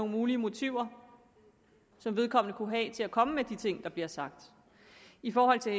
mulige motiver vedkommende kunne have til at komme med de ting der bliver sagt i forhold til